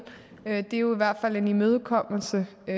er jo i hvert fald en imødekommelse i